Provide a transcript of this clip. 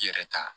I yɛrɛ ta